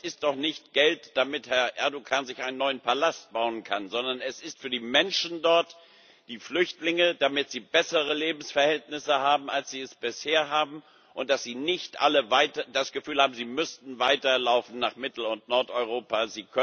Aber es ist doch nicht Geld, damit Herr Erdoğan sich einen neuen Palast bauen kann, sondern es ist für die Menschen dort die Flüchtlinge damit sie bessere Lebensverhältnisse als bisher haben und damit sie nicht alle weiter das Gefühl haben, sie müssten weiterlaufen nach Mittel und Nordeuropa.